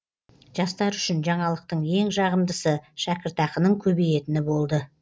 жастар үшін жаңалықтың ең жағымдысы шәкіртақының көбейетіні болды